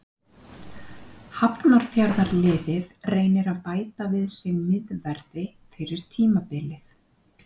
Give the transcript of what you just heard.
Hafnarfjarðarliðið reynir að bæta við sig miðverði fyrir tímabilið.